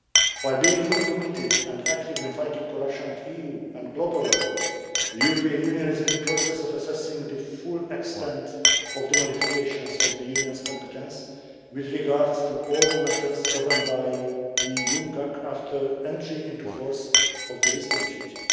While being fully committed and active in fighting corruption at EU and global level, the European Union is in the process of assessing the full extent of the modifications of the Union's competence with regard to all the matters governed by UNCAC after entry into force of the Lisbon Treaty.